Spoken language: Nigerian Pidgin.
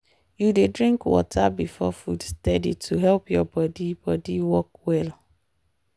you dey drink water before food steady to help your body body work well.